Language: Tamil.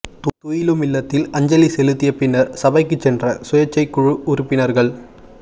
துயிலுமில்லத்தில் அஞ்சலி செலுத்திய பின்னர் சபைக்கு சென்ற சுயேச்சைக் குழு உறுப்பினர்கள்